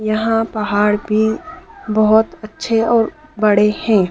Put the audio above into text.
यहां पहाड़ भी बहोत अच्छे और बड़े हैं।